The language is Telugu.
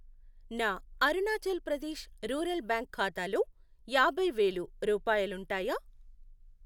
నా అరుణాచల్ ప్రదేశ్ రూరల్ బ్యాంక్ ఖాతాలోయాభై వేలు, రూపాయాలుంటాయా?